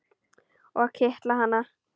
Og kitla hana.